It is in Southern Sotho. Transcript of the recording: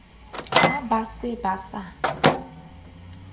ha ba se ba sa